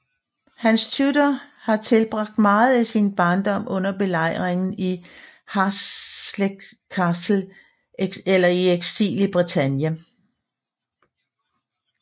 Henrik Tudor havde tilbragt meget af sin barndom under belejring i Harlech Castle eller i eksil i Bretagne